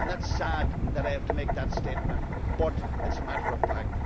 It is sad that I have to make that statement but it is a matter of fact.